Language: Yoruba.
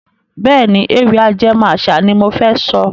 Bẹ́ẹ̀ni, Ewì ajẹmó àṣà ni mofẹ sọ.